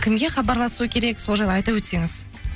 кімге хабарласу керек сол жайлы айта өтсеңіз